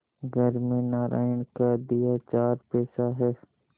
घर में नारायण का दिया चार पैसा है